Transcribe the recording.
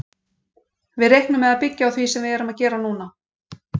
Við reiknum með að byggja á því sem við erum að gera núna.